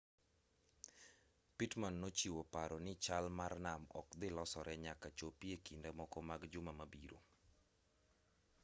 pittman nochiwo paro ni chal mar nam no ok dhi losore nyaka chopi e kinde moko mag juma mabiro